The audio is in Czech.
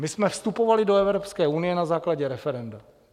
My jsme vstupovali do Evropské unie na základě referenda.